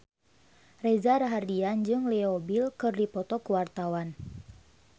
Reza Rahardian jeung Leo Bill keur dipoto ku wartawan